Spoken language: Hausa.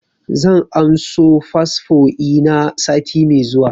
Zan anso fasfo ina sati mai zuwa